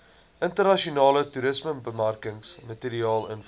internasionale toerismebemarkingsmateriaal invul